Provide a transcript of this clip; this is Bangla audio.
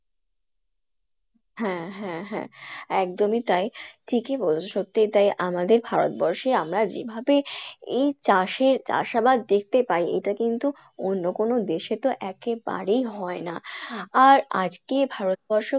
হ্যাঁ হ্যাঁ হ্যাঁ একদমই তাই ঠিকই বলছো সতিই তাই আমাদের ভারতবর্ষে আমরা যেভাবে এই চাষে চাষ আবাদ দেখতে পাই এটা কিন্তু অন্য কোনো দেশে তো একেবারেই হয় না, আর আজকে ভারতবর্ষ